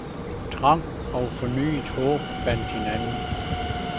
Trang og fornyet håb fandt hinanden.